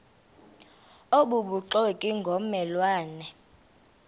obubuxoki ngomme lwane